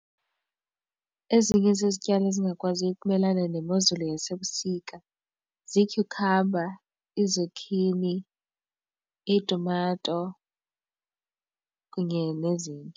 Ezinye zizityalo ezingakwaziyo ukumelana nemozulu yasebusika ziityhukhamba, iizakhini, iitumato kunye nezinye.